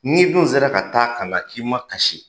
N'i dun sera ka taa ka na k'i ma kasi,